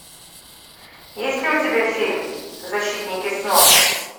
есть ли у тебя фильм защитники снов